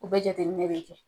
U bɛ jateminɛ de kɛ.